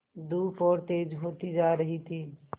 धूप और तेज होती जा रही थी